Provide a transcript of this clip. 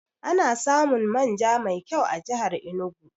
Ana samun man ja mai kyau a jihar Enugu